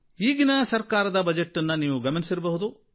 ಈಗಿನ ಸರಕಾರದ ಬಜೆಟನ್ನೂ ನೀವು ಗಮನಿಸಿರಬಹುದು